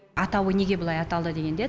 атауы неге бұлай аталды дегенде